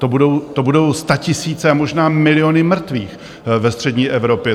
To budou statisíce a možná miliony mrtvých ve střední Evropě.